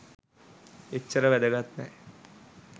එච්චර වැදගත් නෑ